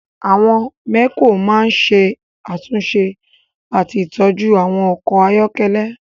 Àwọn mẹ́kò máa ń ṣe àtúnṣe àti ìtọ́jú àwọn ọkọ̀ ayọ́kẹ́lẹ́